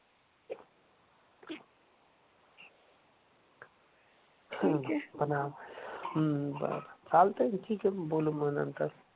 ठीक ए. हम्म बर चालतंय की ठीक ए मग बोलू मग नंतर